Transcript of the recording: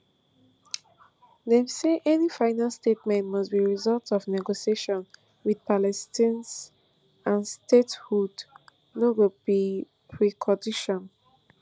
dem say any final settlement must be result of negotiations wit palestinians and statehood no go be precondition